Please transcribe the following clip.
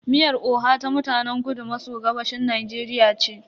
Miyar oha ta mutanen kudu maso gabashin Najeriya ce.